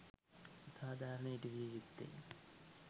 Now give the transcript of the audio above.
සාධාරණය ඉටු විය යුත්තේ